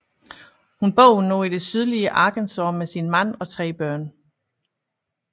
Hun bor nu i det sydlige Arkansas med sin mand og tre børn